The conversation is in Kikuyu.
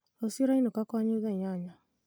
rũciũ ũrainũka kwanyu thaa inyanya